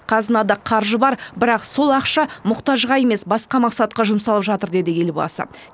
қазынада қаржы бар бірақ сол ақша мұқтажға емес басқа мақсатқа жұмсалып жатыр деді елбасы